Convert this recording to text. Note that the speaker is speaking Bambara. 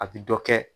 A bi dɔ kɛ